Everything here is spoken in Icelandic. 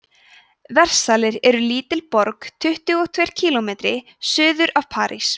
versalir er lítil borg tuttugu og tveir kílómetri suður af parís